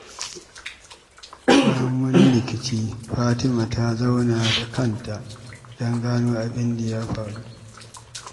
Bayan wani rikici, Fatima ta zauna da kanta don gano abin da ya faru.